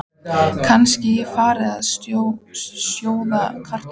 Kannski ég fari að sjóða kartöflur.